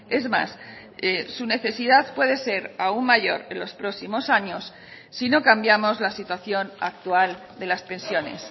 es más su necesidad puede ser aún mayor en los próximos años si no cambiamos la situación actual de las pensiones